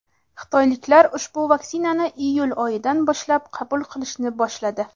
Xitoyliklar ushbu vaksinani iyul oyidan boshlab qabul qilishni boshladi.